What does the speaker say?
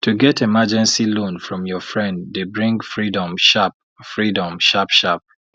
to get emergency loan from your friend dey bring freedom sharp freedom sharp sharp